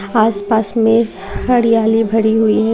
आसपास में हरियाली भरी हुई है।